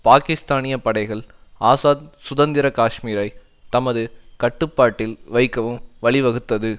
பாக்கிஸ்தானிய படைகள் ஆசாத் சுதந்திர காஷ்மீரை தமது கட்டுப்பாட்டில் வைக்கவும் வழி வகுத்தது